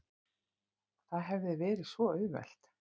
Það hefði verið svo auðvelt.